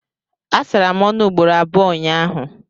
Asara m ọnụ ugboro abụọ ụnyahụ